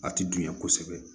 A ti dunya kosɛbɛ